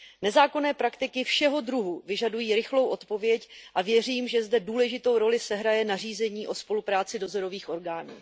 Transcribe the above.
Nezákonné praktiky všeho druhu vyžadují rychlou odpověď a věřím, že zde důležitou roli sehraje nařízení o spolupráci dozorových orgánů.